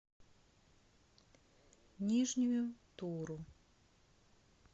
нижнюю туру